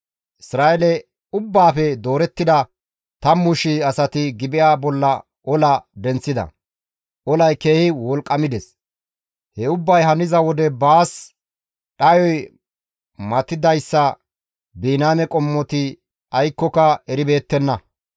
Isra7eele ubbaafe doorettida 10,000 asati Gibi7a bolla ola denththida; olay keehi wolqqamides. He ubbay haniza wode baas dhayoy matattidayssa Biniyaame qommoti aykkoka eribeettenna.